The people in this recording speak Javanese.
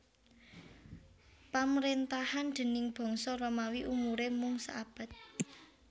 Pamrentahan déning bangsa Romawi umure mung saabad